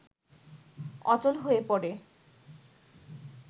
অচল হয়ে পড়ে